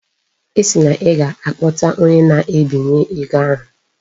Ị sị na ị ga-akpọta onye na-ebinye ego ahụ?